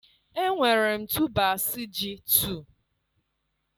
enwere m tubers ji 2